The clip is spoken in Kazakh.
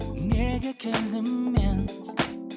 неге келдім мен